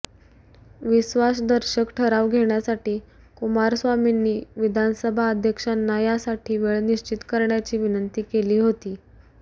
विश्वासदर्शक ठराव घेण्यासाठी कुमारस्वामींनी विधानसभा अध्यक्षांना यासाठी वेळ निश्चित करण्याची विनंती केली होती